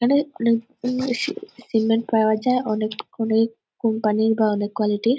এখানে অনেক সিমেন্ট পাওয়া যায় অনেক অনেক কোম্পানির বা অনেক কোয়ালিটি -র |